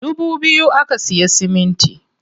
Dubu biyu aka siya siminti.